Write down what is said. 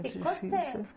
E quanto tempo?